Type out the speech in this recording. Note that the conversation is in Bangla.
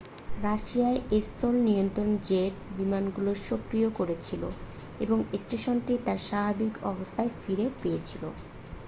রাশিয়ান স্থল নিয়ন্ত্রক জেট বিমানগুলো সক্রিয় করেছিল এবং স্টেশনটি তার স্বাভাবিক অবস্থা ফিরে পেয়েছিল